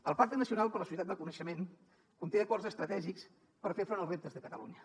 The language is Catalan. el pacte nacional per a la societat del coneixement conté acords estratègics per fer front als reptes de catalunya